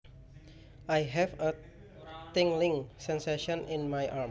I have a tingling sensation in my arm